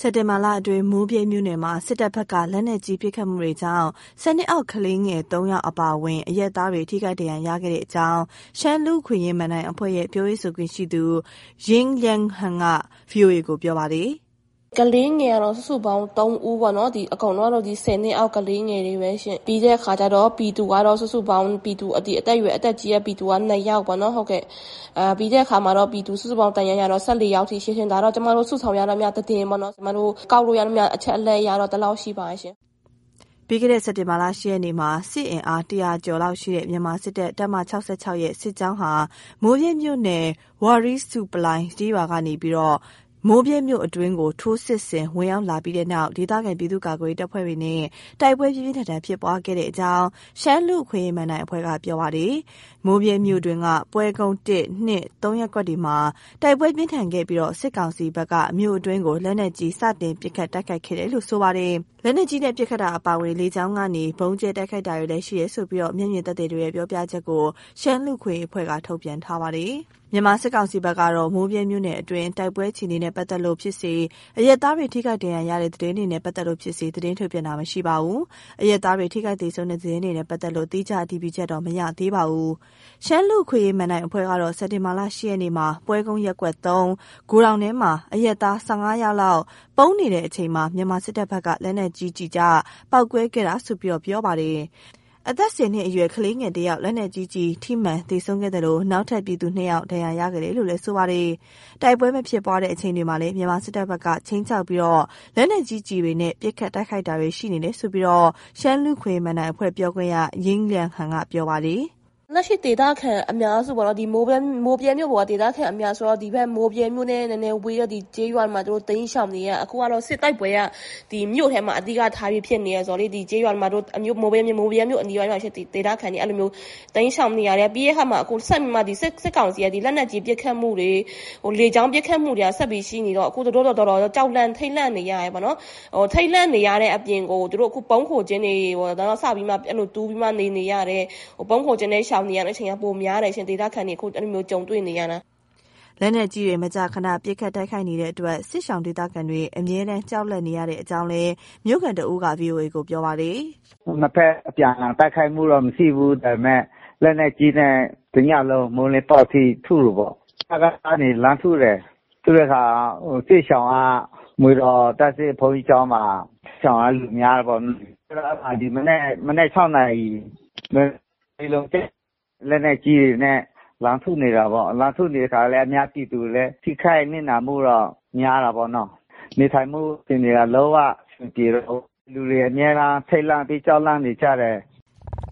စက်တင်ဘာလ အတွင်း မိုးဗြဲမြို့နယ်မှာ စစ်တပ်ဘက်က လက်နက်ကြီး ပစ်ခတ်မှုတွေကြောင့် ၁၀ နှစ်အောက် ကလေးငယ် ၃ ယောက် အပါအဝင် အရပ်သားတွေ ထိခိုက်ဒဏ်ရာရခဲ့တဲ့ အကြောင်း ရှမ်းလူ့အခွင့်အရေး မဏ္ဍိုင်အဖွဲ့ရဲ့ ပြောရေးဆိုခွင့်ရှိသူ ယိင်းလျန်းဟန်က ဗွီအိုအေကို ပြောတာပါ။ “ကလေးငယ်ကတော့ စုစုပေါင်း ၃ ဦးပေါ့နော်။ ဒီအကုန်လုံးကတော့ ဒီ ၁၀ နှစ်အောက် ကလေးငယ်တွေပဲရှင့်။ ပြီးတဲ့ အခါကျတော့ ပြည်သူကတော့ စုစုပေါင်း အသက်ကြီးတဲ့ ပြည်သူက ၂ယောက်ပေါ့နော် ဟုတ်ကဲ့။ ပြီးတဲ့အခါမှာ ပြည်သူ စုစုပေါင်း ဒဏ်ရာရတော့ ၁၄ ယောက်ထိရှိတယ်။ ဒါတော့ ကျမတို့ စုဆောင်းရသမျှသတင်းပေါ့နော်။ ကျမတို့ ကောက်လို့ရသမျှ အချက်အလက် အရတော့ ဒီလောက်ရှိပါတယ်ရှင့်။” ပြီးခဲ့တဲ့ စက်တင်ဘာလ ၈ ရက်နေ့က စစ်အင်အား ၁၀၀ ကျော်လောက်ရှိတဲ့ မြန်မာစစ်တပ် တပ်မ ၆၆ ရဲ့ စစ်ကြောင်းဟာ မိုးဗြဲမြို့နယ် ဝါရီးဆူးပလိုင် ကျေးရွာကနေ မိုးဗြဲမြို့အတွင်းကို ထိုးစစ် ဝင်ရောက်လာပြီးတဲ့နောက် ဒေသခံပြည်သူ့ကာကွယ်ရေးတပ်ဖွဲ့တွေနဲ့ တိုက်ပွဲ ပြင်းပြင်းထန်ထန် ဖြစ်ပွားခဲ့တယ်လို့ ရှမ်းလူ့အခွင့်အရေး မဏ္ဍိုင်အဖွဲ့က ပြောပါတယ်။ မိုးဗြဲမြို့တွင်းက ပွဲကုန်း ရပ်ကွက်တွေမှာ တိုက်ပွဲပြင်းထန်ခဲ့ပြီး စစ်ကောင်စီဖက်က မြို့အတွင်းကို လက်နက်ကြီး စတင်ပစ်ခတ်တိုက်ခိုက်ခဲ့တယ်လို့ ဆိုပါတယ်။ လက်နက်ကြီးနဲ့ ပစ်ခတ်တာအပြင် လေကြောင်းကနေ ဗုံးကြဲတိုက်ခိုက်တာတွေလည်း ရှိတယ်ဆိုပြီး မျက်မြင်သက်သေတွေရဲ့ ပြောပြချက်ကို ရှမ်း လူ့အခွင့်အရေးအဖွဲ့က ထုတ်ပြန်ထားပါတယ်။ မြန်မာစစ်ကောင်စီဘက်ကတော့ မိုးဗြဲမြို့နယ်အတွင်း တိုက်ပွဲအခြေအနေနဲ့ ပတ်သက်လို့ဖြစ်စေ၊ အရပ်သားတွေ ထိခိုက်ဒဏ်ရာရတဲ့ သတင်းတွေနဲ့ ပတ်သက်လို့ဖြစ်စေ သတင်းထုတ်ပြန်တာ မရှိပါဘူး။ အရပ်သားတွေ ထိခိုက် သေဆုံးတဲ့ သတင်းတွေနဲ့ ပတ်သက်လို့ သီးခြားအတည်ပြုချက်တော့ မရသေးပါဘူး။ ရှမ်းလူ့အခွင့်အရေး မဏ္ဍိုင်အဖွဲ့ကတော့ စက်တင်ဘာလ ၈ ရက်နေ့က ပွဲကုန်းရပ်ကွက် ဂိုဒေါင်ထဲမှာ အရပ်သား ၁၅ ယောက်လောက် ပုန်းနေတဲ့အချိန် မြန်မာစစ်တပ်ဘက်က လက်နက်ကြီးကျ ပေါက်ကွဲခဲ့တာလို့ ပြောပါတယ်။ အသက် ၁၀ နှစ်အရွယ် ကလေးငယ် တဦး လက်နက်ကြီးကျည် ထိမှန်သေဆုံးခဲ့သလို နောက်ထပ် ပြည်သူ ၂ ဦး ဒဏ်ရာရခဲ့တယ်လို့ ပြောပါတယ်။ တိုက်ပွဲမဖြစ်ပွားတဲ့ အချိန်တွေမှာလည်း မြန်မာစစ်တပ်ဘက်က ခြိမ်းခြောက်ပြီး လက်နက်ကြီးကျည်တွေနဲ့ ပစ်ခတ်တိုက်ခိုက်တာတွေ ရှိနေတယ်လို့ ရှမ်းလူ့အခွင့်အရေး မဏ္ဍိုင်အဖွဲ့ ပြောခွင့်ရ ယိင်းလျန်းဟန်က ပြောပါတယ်။ “လက်ရှိ ဒေသခံအများစုပေါ့။ မိုးဗြဲမြို့ပေါ်က ဒေသခံအများက ဒီမိုးဗြဲမြို့နဲ့ နည်းနည်းဝေးတဲ့ ဒီကျေးရွာတွေမှာ သူတို့တိမ်းရှောင်နေရတာ။ အခုကတော့ စစ်တိုက်ပွဲက ဒီမြို့ထဲမှာ အဓိကထားပြီးဖြစ်နေတာဆိုတော့လေ ဒီကျေးရွာတွေမှာ မိုးဗြဲမြို့အနီးတဝိုက်မှာရှိတဲ့ ဒေသခံတွေ အဲ့လိုမျိုး တိမ်းရှောင်နေရတယ်။ ပြီးတဲ့အခါမှာ ဆက်ပြီးမှ ဒီစစ်ကောင်စီက လက်နက်ကြီး ပစ်ခတ်မှုတွေ လေကြောင်းပစ်ခတ်မှုတွေက ဆက်ပြီးရှိနေတော့ အခုသူတို့လည်း တော်တော်လေး ကြောက်လန့် ထိတ်လန့်နေရတယ်ပေါ့နော်။ ထိတ်လန့်နေရတဲ့ အပြင်ကို သူတို့ အခု ဗုံးခိုကျင်းတွေ စပြီးမှ အဲ့လို တူးပြီးမှ နေနေရတယ်။ ဗုံးခိုကျင်းနဲ့ ရှောင်နေရတဲ့ အချိန်က ပိုများတယ်ရှင့်။ ဒေသခံတွေ အခု အဲ့လိုမျိုးကြုံတွေ့နေရတာ။” လက်နက်ကြီးတွေနဲ့ မကြာခဏ ပစ်ခတ်တိုက်ခိုက်နေတဲ့အတွက် စစ်ရှောင်ဒေသခံတွေ အမြဲတမ်းကြောက်လန့် နေရတဲ့အကြောင်းလည်း မြို့ခံတဦးက ဗွီအိုအေက ကို ပြောပါတယ်။ “နှစ်ဖက် အပြန်အလှန်တိုက်ခိုက်မှုတော့ မရှိဘူး။ ဒါပေမယ့် လက်နက်ကြီးနဲ့ တစ်ညလုံး မိုးလင်းပေါက်အထိ ထုတယ်ပေါ့။ စကစ ကနေ လှမ်းထုတယ်။ ထုတဲ့အခါ စစ်ရှောင်က မွေတော်ဘုန်းကြီးကျောင်းမှာ ရှောင်တဲ့လူများတယ်ပေါ့။ ဆိုတော့ အဲ့မှာ ဒီမနက် မနက် ၆နာရီ လက်နက်ကြီး ကျတယ်။ လက်နက်ကြီးတွေနဲ့ လှမ်းထုနေတာပေါ့။ လှမ်းထုနေတဲ့အခါလည်း အများပြည်သူလည်း ထိခိုက်နစ်နာမှုတော့ များတာပေါ့နော်။ နေထိုင်မှုအခြေအနေက လုံးအဆင်မပြေတော့ဘူး။ လူတွေအမြဲတမ်း ထိတ်လန့်ပြီး ကြောက်လန့်နေကြတယ်။”